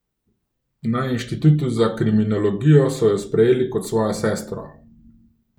Na inštitutu za kriminologijo so jo sprejeli kot svojo sestro.